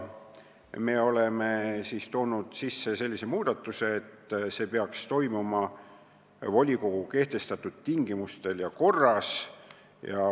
Me oleme välja käinud muudatuse, et see peaks toimuma volikogu kehtestatud tingimustel ja korras.